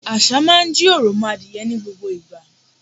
Àṣà máa ń jí òròmọadìẹ ní gbogbo ìgbà.